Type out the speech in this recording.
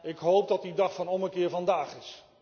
Ik hoop dat die dag van ommekeer vandaag is.